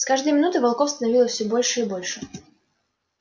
с каждой минутой волков становилось всё больше и больше